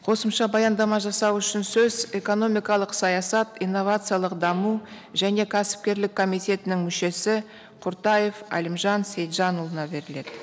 қосымша баяндама жасау үшін сөз экономикалық саясат инновациялық даму және кәсіпкерлік комитетінің мүшесі құртаев әлімжан сейітжанұлына беріледі